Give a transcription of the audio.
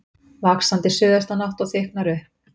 Vaxandi suðaustanátt og þykknar upp